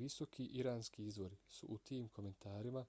visoki iranski izvori su u tim komentarima